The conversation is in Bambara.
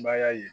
Maya ye